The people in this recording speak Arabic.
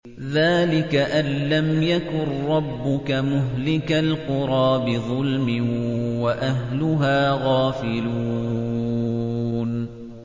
ذَٰلِكَ أَن لَّمْ يَكُن رَّبُّكَ مُهْلِكَ الْقُرَىٰ بِظُلْمٍ وَأَهْلُهَا غَافِلُونَ